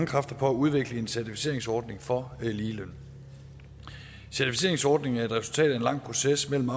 kræfter på at udvikle en certificeringsordning for ligeløn certificeringsordningen er et resultat af en lang proces mellem